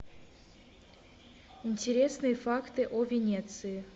интересные факты о венеции